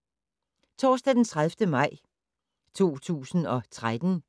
Torsdag d. 30. maj 2013